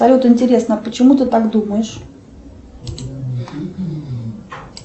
салют интересно а почему ты так думаешь